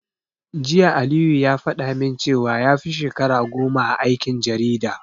Jiya Aliyu ya faɗa min cewa yafi shekara goma a aikin jarida.